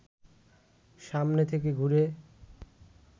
সামনে থেকে ঘুরে